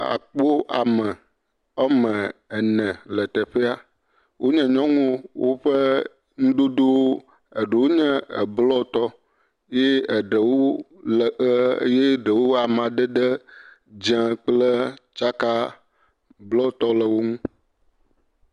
Akpɔ ame woame ene le teƒea, wonye nyɔnuwo, eɖewo ƒe nuɖoɖowo, eɖewo nye bluɔtɔ eye eɖewo le abe, eɖewo nye amadede dzɛ kple tsaka bluɔ tɔ le wonu.